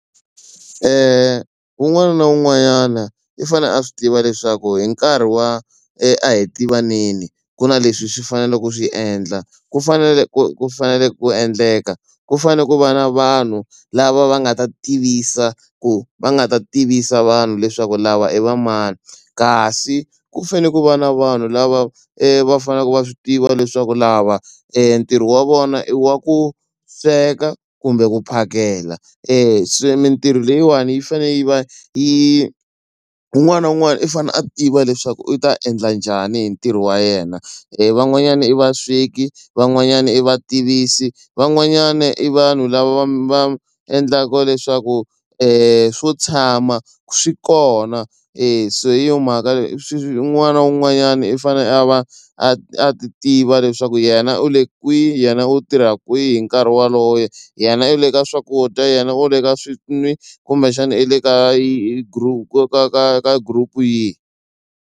Un'wana na un'wanyana i fanele a swi tiva leswaku hi nkarhi wa ahitivaneni ku na leswi swi faneleke u ku swi endla ku fanele ku fanele ku endleka ku fanele ku va na vanhu lava va nga ta tivisa ku va nga ta tivisa vanhu leswaku lava i va mani kasi ku fanele ku va na vanhu lava va faneleke va swi tiva leswaku lava ntirho wa vona i wa ku sweka kumbe ku phakela se mintirho leyiwani yi fanele yi va yi un'wana na un'wana i fanele a tiva leswaku u ta endla njhani hi ntirho wa yena van'wanyana i vasweki van'wanyani i va tivisi van'wanyana i vanhu lava va endlaka leswaku swo tshama swi kona e so hi yo mhaka un'wana na un'wanyana i fanele a va a ti tiva leswaku yena u le kwihi hi yena u tirha kwihi hi nkarhi wolowo ye yena i le ka swakudya yena u le ka swin'wi kumbexana i le ka ka ka ka ka group yihi.